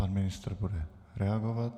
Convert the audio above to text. Pan ministr bude reagovat.